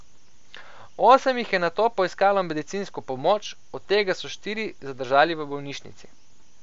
Osem jih je nato poiskalo medicinsko pomoč, od tega so štiri zadržali v bolnišnici.